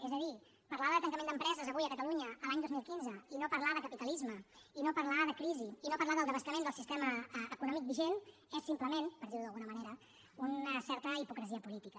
és a dir parlar de tancament d’empreses avui a catalunya l’any dos mil quinze i no parlar de capitalisme i no parlar de crisi i no parlar de la devastació del sistema econòmic vigent és simplement per dir ho d’alguna manera una certa hipocresia política